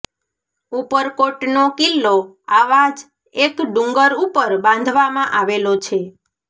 ઉપરકોટનો કિલ્લો આવા જ એક ડુંગર ઉપર બાંધવામાં આવેલો છે